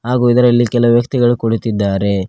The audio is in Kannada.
ಹಾಗು ಇದರಲ್ಲಿ ಕೆಲವು ವ್ಯಕ್ತಿಗಳು ಕುಳಿತ್ತಿದ್ದಾರೆ.